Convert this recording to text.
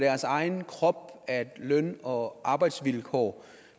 egen krop at løn og arbejdsvilkår